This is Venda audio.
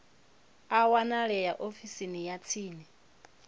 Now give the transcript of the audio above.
a wanalea ofisini ya tsini